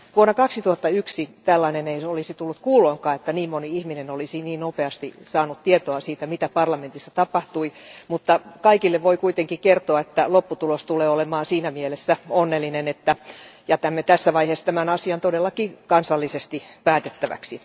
Vuonna 2001 ei olisi tullut kuuloonkaan, että niin moni ihminen olisi niin nopeasti saanut tietoa siitä, mitä parlamentissa tapahtui. Kaikille voi kuitenkin kertoa, että lopputulos tulee olemaan siinä mielessä onnellinen, että jätämme tässä vaiheessa tämän asian todellakin kansallisesti päätettäväksi.